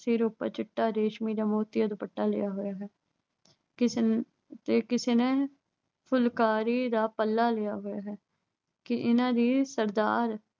ਸਿਰ ਉੱਪਰ ਚਿੱਟਾ ਰੇਸ਼ਮੀ ਦੁਪੱਟਾ ਲਿਆ ਹੋਇਆ ਹੈ। ਕਿਸੇ ਨੇ ਅਹ ਕਿਸੇ ਨੇ ਫੁਲਕਾਰੀ ਦਾ ਪੱਲਾ ਲਿਆ ਹੋਇਆ ਹੈ। ਕਿ ਉਨ੍ਹਾਂ ਦੇ ਸਰਦਾਰ